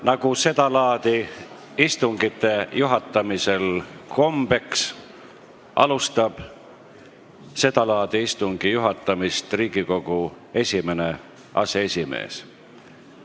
Nagu seda laadi istungitel kombeks, alustab istungi juhatamist Riigikogu esimene aseesimees.